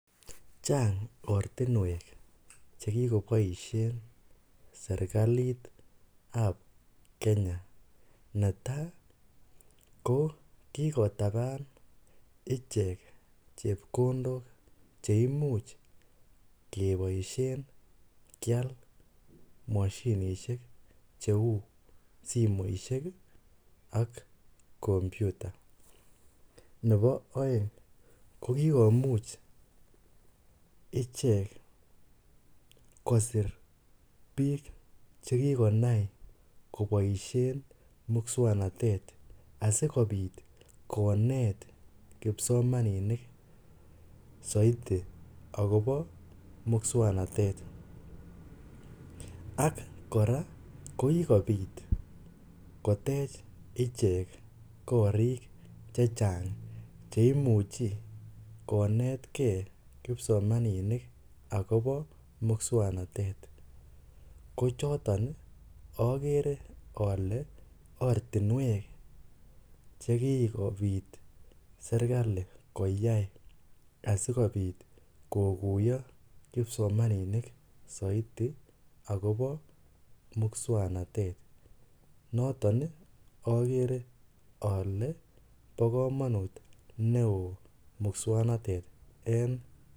Chang ortinwek chekikoboishen serikalitab Kenya, netaa ko kikotaban ichek chepkondok cheimuch keboishen kial moshinishek cheuu simoishe ak kompyuta, nebo oeng ko kikomuch ichek kosir biik chekikonai koboishen muswoknotet asikobit konet kipsomaninik soiti akobo muswoknotet ak kora ko kikobit kotech ichek korik chechang cemuchi konetke kipsomaninik akobo musknotet, kochoton okere olee ortinwek chekikobit serikali koyai asikobit kokuiyo kipsomaninik soiti ak kobo muswoknotet, noton okere olee bokomonut neoo muswoknotet en.